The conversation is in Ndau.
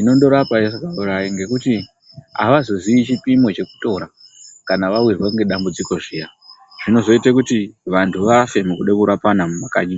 Inondorapa isikaurayi ngekuti avazozii chipimo chekutora kana vawirwa ngedambudziko zviya zvinozoita kuti vanhu vafe mukude kurapana mumakanyi.